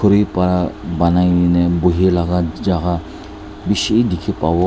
banai na bui laka jaka bishi tiki bavo.